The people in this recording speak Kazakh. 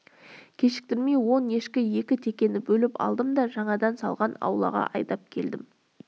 кешіктірмей он ешкі екі текені бөліп алдым да жаңадан салған аулаға айдап келдім